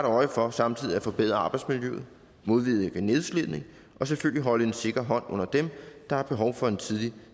øje for samtidig at forbedre arbejdsmiljøet modvirke nedslidning og selvfølgelig holde en sikker hånd under dem der har behov for en tidlig